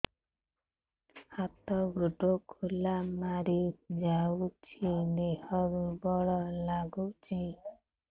ହାତ ଗୋଡ ଖିଲା ମାରିଯାଉଛି ଦେହ ଦୁର୍ବଳ ଲାଗୁଚି